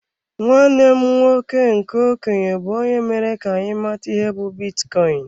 Nwanne m nwoke nke okenye bu onye mere ka anyị mata ihe be bitcoin.